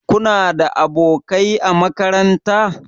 Kuna da abokai a makaranta?